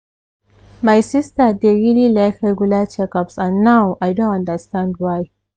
my sister dey really like regular checkups and now i don understand why.